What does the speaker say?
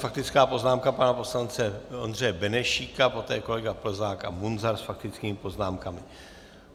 Faktická poznámka pana poslance Ondřeje Benešíka, poté kolega Plzák a Munzar s faktickými poznámkami.